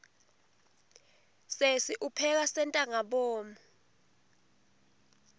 sesi upheka sentangabomu